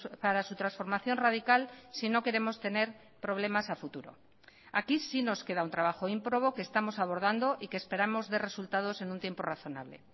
para su transformación radical si no queremos tener problemas a futuro aquí sí nos queda un trabajo ímprobo que estamos abordando y que esperamos dé resultados en un tiempo razonable